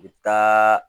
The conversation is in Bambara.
U bɛ taa